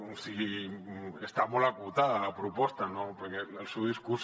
o sigui està molt acotada la proposta no perquè el seu discurs